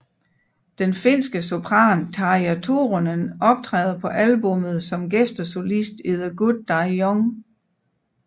Den finske sopran Tarja Turunen optræder på albummet som gæstesolist i The Good Die Young